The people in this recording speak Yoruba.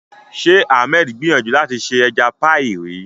Ṣé Ahmed gbìyànjú láti ṣe ẹja píì rí?